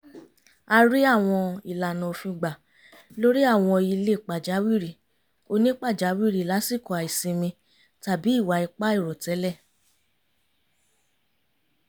a rí àwọn ìlànà òfin gbà lórí àwọn ilé pàjáwìrì onípàjáwìrì lásíkò àìsinmi tàbí ìwà ipá àìròtẹ́lẹ̀